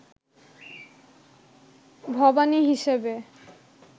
ভবানী হিসেবে